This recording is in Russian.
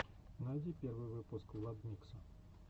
найди первый выпуск владмикса